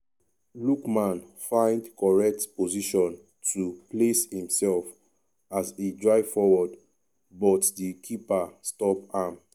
lookman find correct position to place imsef as e drive forward but di keeper stop am.